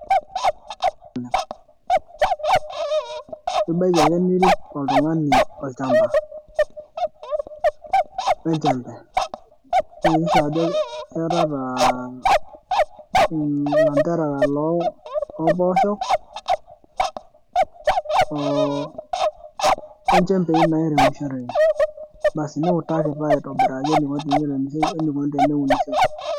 ibaiki ake nirik oltung'ani olchampa, we nchempe, niyakikisha ajo iyatata ilanterera loompoosho. onjempei nairemishoreki. niutaki taa aitobiraki eneiko tenirem we nikoni teneunishoi.